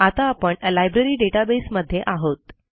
आता आपण library database मध्ये आहोत